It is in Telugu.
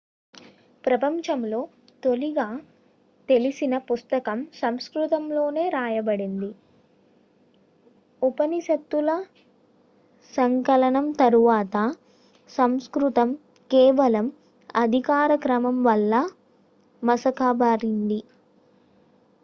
ప్రపంచంలో తొలిగా తెలిసిన పుస్తకం సంస్కృతంలోనే రాయబడింది ఉపనిషత్తుల సంకలనం తరువాత సంస్కృతం కేవలం అధికార క్రమం వల్ల మసకబారింది